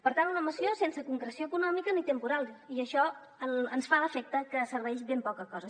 per tant una moció sense concreció econòmica ni temporal i això ens fa l’efecte que serveix de ben poca cosa